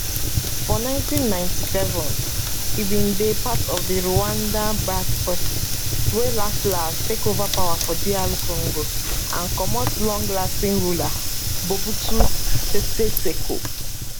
for 1997 e bin dey part of di rwandanbacked forces wey laslas take ova power for dr congo and comot longserving ruler mobutu sese seko